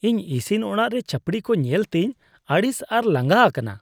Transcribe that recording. ᱤᱧ ᱤᱥᱤᱱ ᱚᱲᱟᱜ ᱨᱮ ᱪᱟᱺᱯᱲᱤ ᱠᱚ ᱧᱮᱞᱛᱮᱧ ᱟᱹᱲᱤᱥ ᱟᱨ ᱞᱟᱸᱜᱟ ᱟᱠᱟᱱᱟ ᱾